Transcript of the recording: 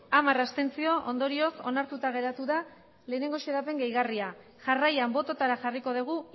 hamar abstentzio ondorioz onartuta geratu da lehenengo xedapen gehigarria jarraian bototara jarriko dugu